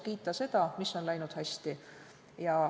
Kiitkem seda, mis on läinud hästi.